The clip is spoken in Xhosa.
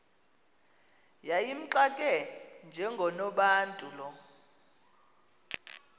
yayimxake njengonobantu lo